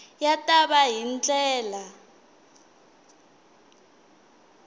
ya ta va hi ndlela